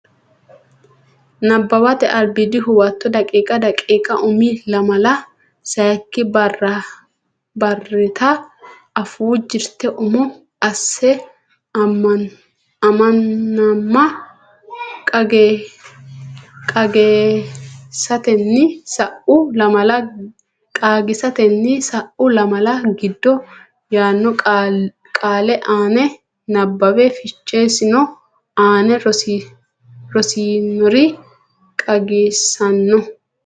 Nabbawate Albiidi Huwato daqiiqa daqiiqa Umi lamala sayikki barrita afuu jirte umo asse Ammanama qaagiissatenni sa u lamala giddo yaanno qaale ani nabbawe fichesino aane rossinore qaagiissinsa.